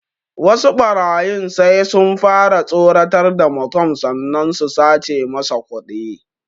Wasu ɓarayin sai sun fara tsoratar da mutum sannan su sace masa kuɗi